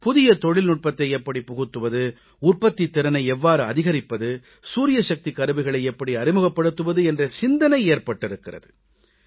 புதிய தொழில்நுட்பத்தை எப்படிப் புகுத்துவது உற்பத்தித் திறனை எவ்வாறு அதிகரிப்பது சூரியசக்திக் கருவிகளை எப்படி அறிமுகப்படுத்துவது என்ற சிந்தனை ஏற்பட்டிருக்கிறது